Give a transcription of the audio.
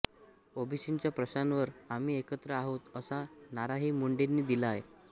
ओबीसींच्या प्रश्नावर आम्ही एकत्र आहोत असा नाराही मुंडेंनी दिला आहे